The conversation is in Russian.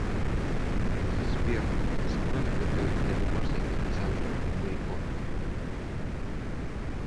сбер сама ли готовит для домашних александра бурико